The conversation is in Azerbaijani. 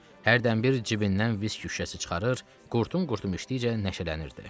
Hərdənbir cibindən viski şüşəsi çıxarır, qurtum-qurtum içdikcə nəşələnirdi.